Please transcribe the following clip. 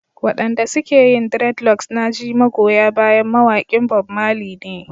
Waɗanda suke yin dreadlocks na ji magoya bayan mawaƙin Bob Marley ne.